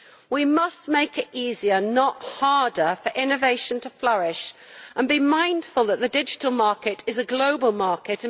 We must make it easier, not harder, for innovation to flourish, and be mindful that the digital market is a global market.